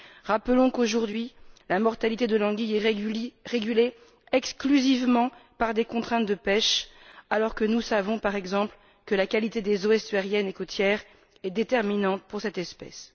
Rappelons qu'aujourd'hui, la mortalité de l'anguille est régulée exclusivement par des contraintes de pêche, alors que nous savons, par exemple, que la qualité des eaux estuariennes et côtières est déterminante pour cette espèce.